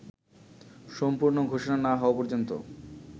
সম্পূর্ণ ঘোষণা না হওয়া পর্যন্ত